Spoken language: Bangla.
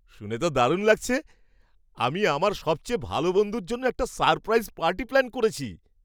শুনে তো দারুণ লাগছে! আমি আমার সবচেয়ে ভালো বন্ধুর জন্য একটা সারপ্রাইজ পার্টি প্ল্যান করছি।